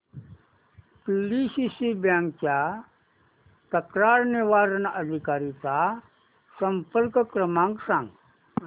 PDCC bank च्या तक्रार निवारण अधिकारी चा संपर्क क्रमांक सांग